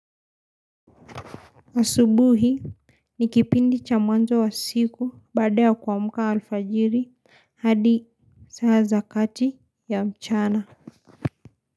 Asubuhi ni kipindi cha mwanzo wa siku baada ya kuamka alfajiri hadi saa za kati ya mchana.